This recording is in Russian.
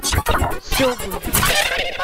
сегун